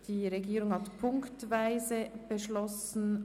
Die Regierung hat punktweise beschlossen.